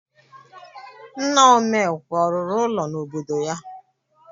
Nna Omekwe ọ rụrụ ụlọ n'obodo ya?